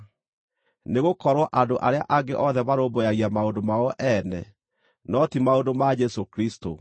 Nĩgũkorwo andũ arĩa angĩ othe marũmbũyagia maũndũ mao ene, no ti maũndũ ma Jesũ Kristũ.